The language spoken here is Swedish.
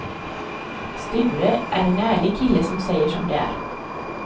Sture är en ärlig kille som säger som det är.